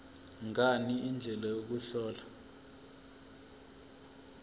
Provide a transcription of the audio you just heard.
ngani indlela yokuhlola